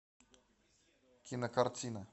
кинокартина